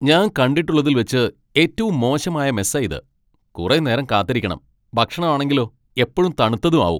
ഞാൻ കണ്ടിട്ടുള്ളതിൽ വച്ച് ഏറ്റവും മോശമായ മെസ്സാ ഇത്. കുറെ നേരം കാത്തിരിക്കണം, ഭക്ഷണം ആണെങ്കിലോ എപ്പഴും തണുത്തതും ആവും.